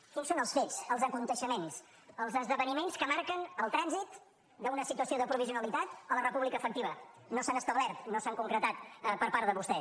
quins són els fets els esdeveniments que marquen el trànsit d’una situació de provisionalitat a la república efectiva no s’han establert no s’han concretat per part de vostè